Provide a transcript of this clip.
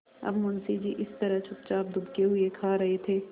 अब मुंशी जी इस तरह चुपचाप दुबके हुए खा रहे थे